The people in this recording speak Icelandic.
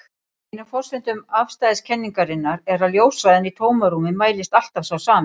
Ein af forsendum afstæðiskenningarinnar er að ljóshraðinn í tómarúmi mælist alltaf sá sami.